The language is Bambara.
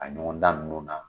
A ɲɔgɔn dan ninnu na